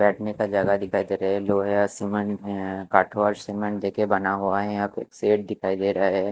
बैठने का जगह दिखाई दे रहा है लोहे और सिमेन्ट में कठोर सिमेन्ट देके बना हुआ है यहाँ पे एक सेठ दिखाई देरा है ।